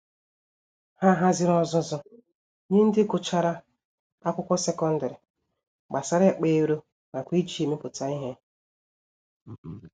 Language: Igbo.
Ha haziri ọzụzụ nye ndị Gụchara Akwụkwọ secondary, gbasara ịkpa ero nakwa iji ya emepụta ìhè.